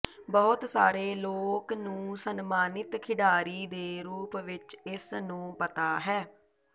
ਬਹੁਤ ਸਾਰੇ ਲੋਕ ਨੂੰ ਸਨਮਾਨਿਤ ਖਿਡਾਰੀ ਦੇ ਰੂਪ ਵਿੱਚ ਇਸ ਨੂੰ ਪਤਾ ਹੈ